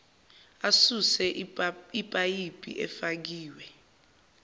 asuse ipayipi efakiwe